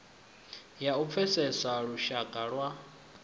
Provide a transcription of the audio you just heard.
ya u pfesesa lushaka lwa